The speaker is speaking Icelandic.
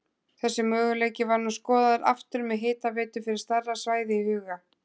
Þessi möguleiki var nú skoðaður aftur með hitaveitu fyrir stærra svæði í huga.